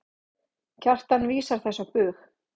Kjartan vísar þessu á bug.